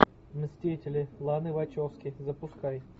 мстители ланы вачовски запускай